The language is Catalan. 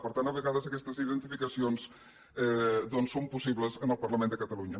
per tant a vegades aquestes identificacions doncs són possibles en el parlament de catalunya